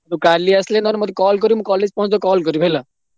ତୁ କାଲି ଆସିଲେ ନହେଲେ ମତେ call କରିବୁ ମୁଁ college ପହଁଚିଲେ call କରିବୁ ହେଲା।